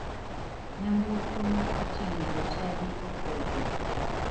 Nyamburko ma oting'o jochadi opodho.